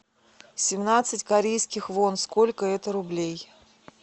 семнадцать корейских вон сколько это рублей